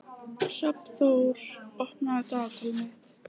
Hrafnþór, opnaðu dagatalið mitt.